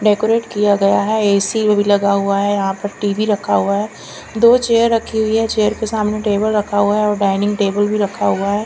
Decorate किया गया है ऐ_सी भी लगा हुआ यहाँ पर टीवी रखा हुआ है दो चेयर रखी हुई है चेयर के सामने टेबल रखा हुआ है और डाइनिंग टेबल भी रखा हुआ है।